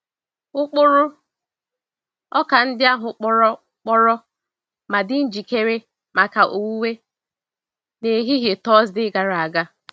Ụkpụrụ ọka ndị ahụ kpọrọ kpọrọ ma dị njikere maka owuwe n'ehihie Tọọsde gara aga.